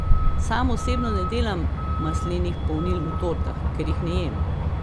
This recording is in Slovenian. Sam osebno ne delam maslenih polnil v tortah, ker jih ne jem.